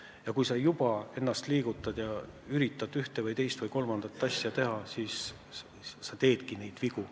Ja kui sa ennast liigutad ja üritad ühte või teist või kolmandat asja teha, siis sa teed ka vigu.